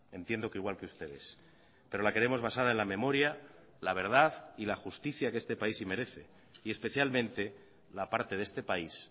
entiendo que igual que ustedes pero la queremos basada en la memoria la verdad y la justicia que este país sí merece y especialmente la parte de este país